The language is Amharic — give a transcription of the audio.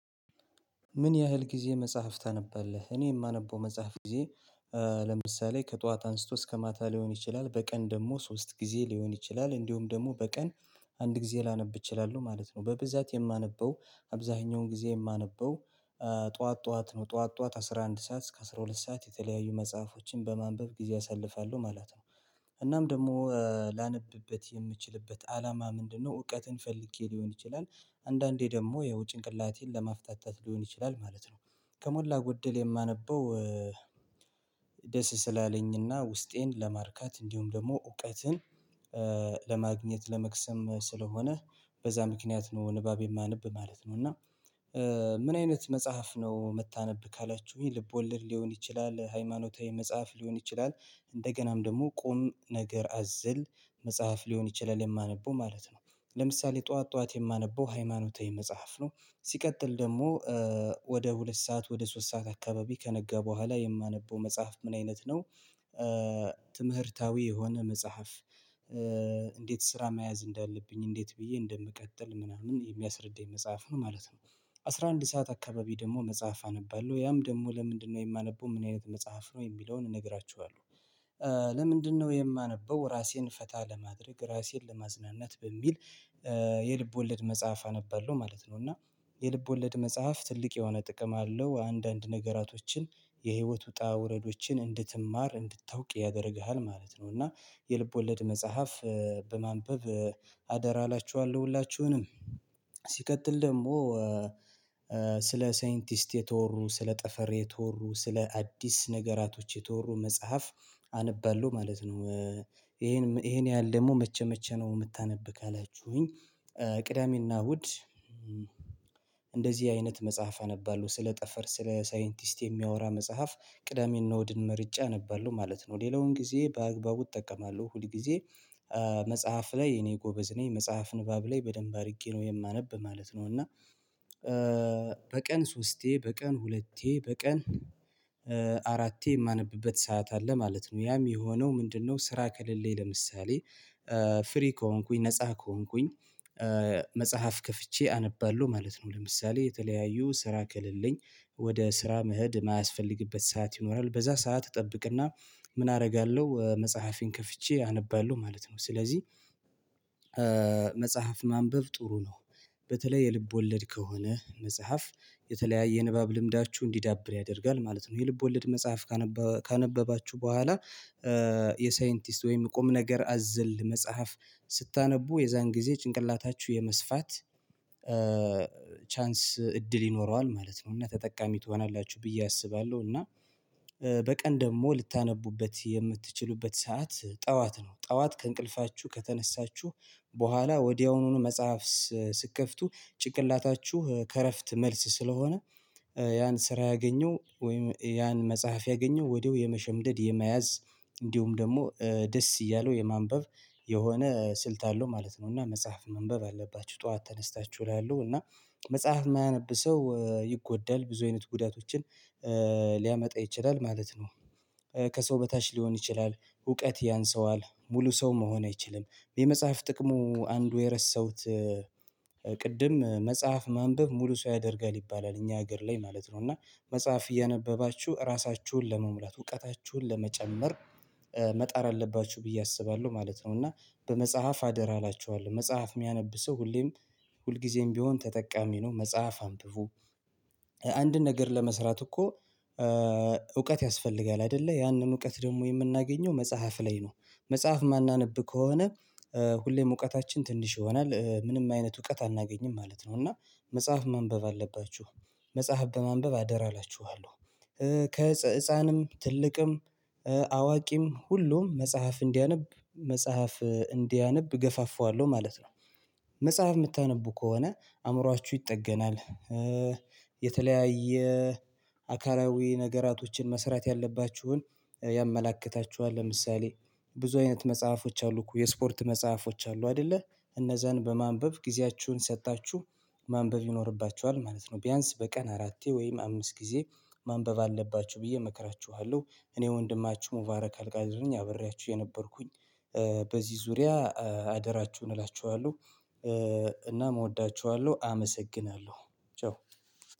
ምን ያህል ጊዜ መጽሐፍ ታነባለህ? እኔ የማነበው መጽሐፍ ጊዜ። ለምሳሌ ከጠዋት አንስቶ እስከ ማታ ሊሆን ይችላል በቀን ደግሞ ሶስት ጊዜ ሊሆን ይችላል እንዲሁም ደግሞ በቀን አንድ ጊዜ ላነብ እችላለሁ። ማለት ነው በብዛት የማነበው አብዛኛውን ጊዜ የማነበው ጠዋት ጠዋት ነው ጠዋት ጠዋት አስራ አንድ ሰዓት እስከ አስራ ሁለት ሰዓት የተለያዩ መጽሐፎችን በማንበብ ጊዜ አሳልፋለሁ ማለት ነው። እናም ደግሞ ላነብበት የምችልበት አላማ ምንድነው? እውቀትን ፈልጌ ሊሆን ይችላል አንዳንዴ ደግሞ ያው ጭንቅላቴን ለመፍታታት ሊሆን ይችላል ማለት ነው። ከሞላ ጎደል የማነበው ደስ ስላለኝና ውስጤን ለማርካት እንዲሁም ደግሞ እውቀትን ለማግኘት ለመክሰም ስለሆነ። በዛ ምክንያት ነው ንባብ የማነብ ማለት ነው። እና ምን አይነት መጽሐፍ ነው? መታነብ ካላችሁኝ ልብ ወልድ ሊሆን ይችላል ሃይማኖታዊ መጽሐፍ ሊሆን ይችላል እንደገናም ደግሞ ቁም ነገር አዝል መጽሐፍ ሊሆን ይችላል የማነበው ማለት ነው። ለምሳሌ ጠዋት ጠዋት የማነበው ሃይማኖታዊ መጽሐፍ ነው። ሲቀጥል ደግሞ ወደ ሁለት ሰዓት ወደ ሶስት ሰዓት አካባቢ ከነገ በኋላ የማነበው መጽሐፍ ምን አይነት ነው? ትምህርታዊ የሆነ መጽሐፍ እንዴት ስራ መያዝ እንዳለብኝ እንዴት ብዬ እንደምቀጥል ምናምን የሚያስረዳኝ መጽሐፍ ነው ማለት ነው። አስራ አንድ ሰዓት አካባቢ ደግሞ መጽሐፍ አነባለሁ ያም ደግሞ ለምንድነው የማነበው ምን አይነት መጽሐፍ ነው የሚለውን እነግራችኋለሁ። ለምንድነው የማነበው ራሴን ፈታ ለማድረግ ራሴን ለማዝናናት በሚል። የልብ ወለድ መጽሐፍ አነባለሁ ማለት ነው። እና የልብ ወለድ መጽሐፍ ትልቅ የሆነ ጥቅም አለው አንዳንድ ነገራቶችን የህይወት ውጣ ውረዶችን እንድትማር እንድታውቅ ያደርግሃል ማለት ነው። እና የልብ ወለድ መጽሐፍ በማንበብ አደራ አላችኋለሁ። ሁላችሁንም ሲቀጥል ደግሞ ስለ ሳይንቲስት የተወሩ ስለ ጠፈር የተወሩ ስለ አዲስ ነገራቶች የተወሩ መጽሐፍ አነባለሁ ማለት ነው። ይሄን ይሄን ያህል ደግሞ መቼ መቼ ነው? የምታነብ ካላችሁኝ። ቅዳሜና እሁድ እንደዚህ አይነት መጽሐፍ አነባለሁ ስለ ጠፈር ስለ ሳይንቲስት የሚያወራ መጽሐፍ ቅዳሜና ዕሁድን መርጬ አነባለሁ ማለት ነው። ሌላውን ጊዜ በአግባቡ እጠቀማለሁ ሁል ጊዜ መጽሐፍ ላይ እኔ ጎበዝ ነኝ መጽሐፍ ንባብ ላይ በደንብ አድርጌ ነው የማነብ ማለት ነው። እና በቀን ሶስቴ በቀን ሁለቴ በቀን አራቴ የማነብበት ሰዓት አለ ማለት ነው። ያም የሆነው ምንድነው? ስራ ከሌለኝ ለምሳሌ። ፍሪ ከሆንኩኝ ነፃ ከሆንኩኝ መጽሐፍ ከፍቼ አነባለሁ ማለት ነው። ለምሳሌ የተለያዩ ስራ ከልልኝ ወደ ስራ መሄድ የማያስፈልግበት ሰዓት ይኖራል። በዛ ሰዓት እጠብቅና ምን አደርጋለሁ መጽሐፍን ከፍቼ አነባለሁ። ማለት ነው ስለዚህ መጽሐፍ ማንበብ ጥሩ ነው። በተለይ የልብ ወለድ ከሆነ መጽሐፍ የተለያየ የንባብ ልምዳችሁ እንዲዳብር ያደርጋል ማለት ነው። የልብ ወለድ መጽሐፍ ካነበባችሁ በኋላ የሳይንቲስት ወይም ቁም ነገር አዝል መጽሐፍ ስታነቡ የዛን ጊዜ ጭንቅላታችሁ የመስፋት ቻንስ እድል ይኖረዋል ማለት ነው። እና ተጠቃሚ ትሆናላችሁ ብዬ አስባለሁ። እና በቀን ደግሞ ልታነቡበት የምትችሉበት ሰዓት ጠዋት ነው። ጠዋት ከእንቅልፋችሁ ከተነሳችሁ በኋላ ወዲያውኑኑ መጽሐፍ ስትከፍቱ ጭንቅላታችሁ ከእረፍት መልስ ስለሆነ። ያን ስራ ያገኘው ወይም ያን መጽሐፍ ያገኘው ወዲያው የመሸምደድ የመያዝ እንዲሁም ደግሞ ደስ እያለው የማንበብ የሆነ ስልት አለው ማለት ነው። እና መጽሐፍ መንበብ አለባችሁ ጠዋት ተነስታችሁ እላለው። እና መጽሐፍ የማያነብ ሰው ይጎዳል ብዙ አይነት ጉዳቶችን ሊያመጣ ይችላል ማለት ነው። ከሰው በታች ሊሆን ይችላል እውቀት ያንሰዋል ሙሉ ሰው መሆን አይችልም። የመጽሐፍ ጥቅሙ አንዱ የረሳሁት ቅድም መጽሐፍ ማንበብ ሙሉ ሰው ያደርጋል ይባላል እኛ ሀገር ላይ ማለት ነው። እና መጽሐፍ እያነበባችሁ ራሳችሁን ለመሙላት እውቀታችሁን ለመጨመር መጣር አለባችሁ ብዬ አስባለሁ ማለት ነው። እና በመጽሐፍ አደራ አላችኋለሁ መጽሐፍ የሚያነብ ሰው ሁሌም ሁልጊዜም ቢሆን ተጠቃሚ ነው። መጽሐፍ አንብቡ። አንድ ነገር ለመስራት እኮ እውቀት ያስፈልጋል አይደለ ያንን እውቀት ደግሞ የምናገኘው መጽሐፍ ላይ ነው። መጽሐፍ ማናነብ ከሆነ። ሁሌም እውቀታችን ትንሽ ይሆናል ምንም አይነት እውቀት አናገኝም ማለት ነው። እና መጽሐፍ ማንበብ አለባችሁ። መጽሐፍ በማንበብ አደራ እላችኋለሁ። ከህፃንም ትልቅም አዋቂም ሁሉም መጽሐፍ እንዲያነብ መጽሐፍ እንዲያነብ ገፋፋዋለሁ ማለት ነው። መጽሐፍ የምታነቡ ከሆነ አእምሮአችሁ ይጠገናል። የተለያየ አካላዊ ነገራቶችን መስራት ያለባችሁን ያመላክታችኋል። ለምሳሌ ብዙ አይነት መጽሐፎች አሉ እኮ የስፖርት መጽሐፎች አሉ አይደለ። እነዛን በማንበብ ጊዜያችሁን ሰጥታችሁ ማንበብ ይኖርባችኋል ማለት ነው። ቢያንስ በቀን አራቴ ወይም አምስት ጊዜ ማንበብ አለባችሁ ብዬ እመክራችኋለሁ። እኔ ወንድማችሁ ሙባረክ አልጋዙኝ አብሬያችሁ የነበርኩኝ በዚህ ዙሪያ አደራችሁን እላችኋለሁ። እና እወዳችኋለሁ አመሰግናለሁ። ቻው